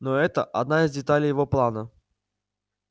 но это одна из деталей его плана